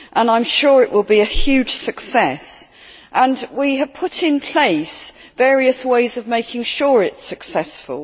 I am sure it will be a huge success and we have put in place various ways of making sure it is successful.